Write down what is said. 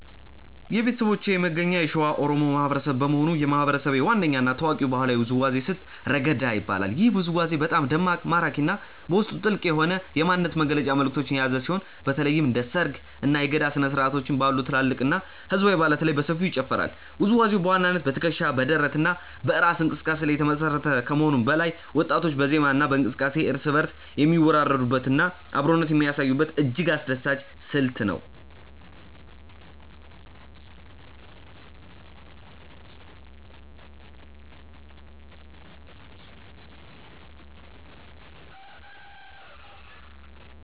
የቤተሰቦቼ መገኛ የሸዋ ኦሮሞ ማህበረሰብ በመሆኑ፣ የማህበረሰቤ ዋነኛ እና ታዋቂው ባህላዊ ውዝዋዜ ስልት "ረገዳ" ይባላል። ይህ ውዝዋዜ በጣም ደማቅ፣ ማራኪ እና በውስጡ ጥልቅ የሆነ የማንነት መግለጫ መልዕክቶችን የያዘ ሲሆን፣ በተለይም እንደ ሰርግ፣ እና የገዳ ስነ-ስርዓቶች ባሉ ትላልቅ ህዝባዊ በዓላት ላይ በሰፊው ይጨፈራል። ውዝዋዜው በዋናነት በትከሻ፣ በደረት እና በእራስ እንቅስቃሴ ላይ የተመሰረተ ከመሆኑም በላይ፣ ወጣቶች በዜማ እና በእንቅስቃሴ እርስ በእርስ የሚወራረዱበት እና አብሮነትን የሚያሳዩበት እጅግ አስደሳች ስልት ነው።